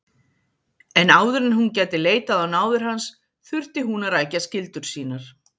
En áður en hún gæti leitað á náðir hans þurfti hún að rækja skyldur sínar.